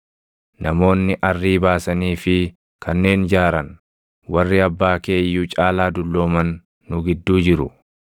Namoonni arrii baasanii fi kanneen jaaran, warri abbaa kee iyyuu caalaa dullooman nu gidduu jiru.